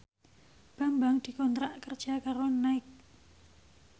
Bambang dikontrak kerja karo Nike